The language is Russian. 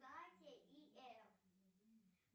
катя и эф